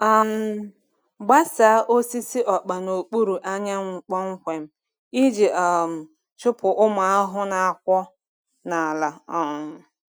um Gbasaa osisi ọkpa n’okpuru anyanwụ kpọmkwem iji um chụpụ ụmụ ahụhụ na-akwọ n’ala. um